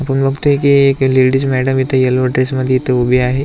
आपण बघतोय की एक लेडिज मॅडम यल्लो ड्रेस मध्ये इथ उभी आहे.